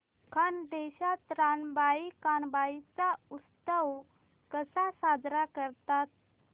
खानदेशात रानबाई कानबाई चा उत्सव कसा साजरा करतात